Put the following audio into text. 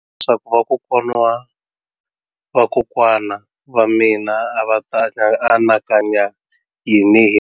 Leswaku vakokwana-va-vakokwana va mina a va ta anakanya yini hi mina.